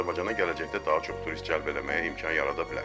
Azərbaycana gələcəkdə daha çox turist cəlb eləməyə imkan yarada bilər.